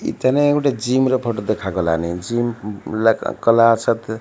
ଇଥାନେ ଗୁଟେ ଜିମ୍ ର ଫଟ ଦେଖାଗଲାନେ ଜିମ୍ ଉଲ୍ଲେଖ କଲା ସାଥ --